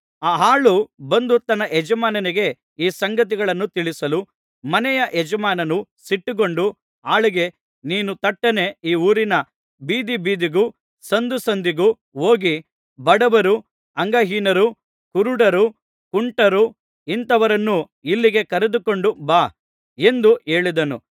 ಆ ಆಳು ಬಂದು ತನ್ನ ಯಜಮಾನನಿಗೆ ಈ ಸಂಗತಿಗಳನ್ನು ತಿಳಿಸಲು ಮನೆಯ ಯಜಮಾನನು ಸಿಟ್ಟುಗೊಂಡು ಆಳಿಗೆ ನೀನು ತಟ್ಟನೆ ಈ ಊರಿನ ಬೀದಿಬೀದಿಗೂ ಸಂದುಸಂದಿಗೂ ಹೋಗಿ ಬಡವರು ಅಂಗಹೀನರು ಕುರುಡರು ಕುಂಟರು ಇಂಥವರನ್ನು ಇಲ್ಲಿಗೆ ಕರೆದುಕೊಂಡು ಬಾ ಎಂದು ಹೇಳಿದನು